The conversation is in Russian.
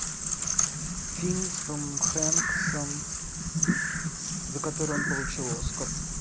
фильм с томом хэнксом за который он получил оскар